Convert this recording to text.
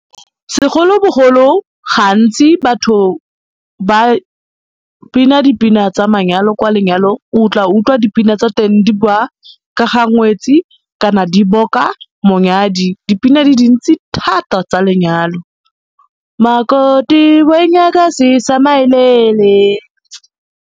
Segolo bogolo gantsi batho ba bina dipina tsa manyalo kwa lenyalong, o tla utlwa dipina tsa teng di ba ka ga ngwetsi kana di boka monyadi, dipina di dintsi thata tsa lenyalo, makoti mayilele.